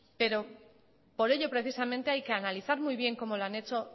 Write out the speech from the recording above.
pero por ello precisamente hay que analizar muy bien cómo lo han hecho